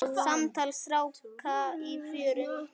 Samtal stráka í fjöru